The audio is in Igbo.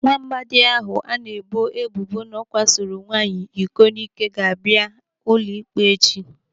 Nwaamadi ahụ ana-ebo ebubo na ọ kwasoro nwaanyị iko n'ike ga-abịa ụlọ ikpe echi.